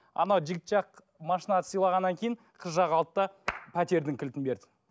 ана жігіт жақ машина сыйлағаннан кейін қыз жақ алды да пәтердің кілтін берді